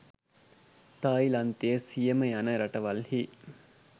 තායිලන්තය සියම යන රටවල්හි